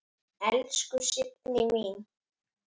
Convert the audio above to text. Elsku Signý mín.